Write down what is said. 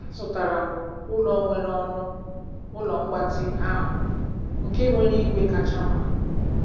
Azụtara m ụlọ nwere ọnụ ụlọ mgbatị ahụ nke nwere igwe kacha mma.